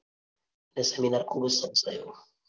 એ seminar ખૂબ જ